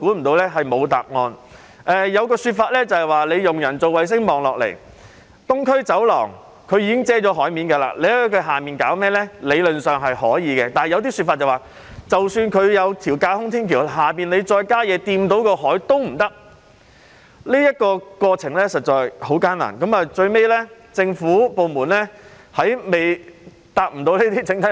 當時有一種說法是利用人造衞星向下望，東區走廊已遮蓋了海面，理論上在它的下方做甚麼也可以，但亦有說法是即使已設有架空天橋，若在下方再興建任何東西觸及海面，也是不可以的。